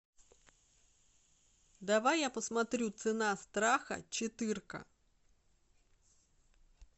давай я посмотрю цена страха четырка